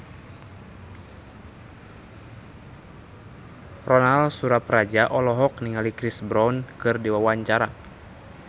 Ronal Surapradja olohok ningali Chris Brown keur diwawancara